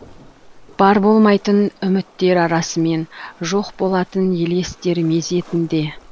бар болмайтын үміттер арасымен жоқ болатын елестер мезетінде